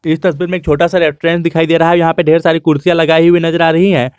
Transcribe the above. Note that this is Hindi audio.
इस तस्वीर में एक छोटा सा रेस्टोरेंट दिखाई दे रहा है जहां पे ढ़ेर कई सारी कुर्सियां लगाई हुई नजर आ रही हैं।